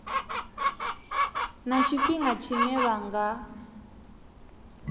na tshifhinga tshine vha nga